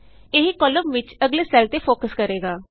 ਇਹ ਕਾਲਮ ਵਿਚ ਅਗਲੇ ਸੈੱਲ ਤੇ ਫੋਕਸ ਕਰੇਗਾ